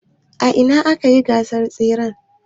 A ina akayi gasan tseren.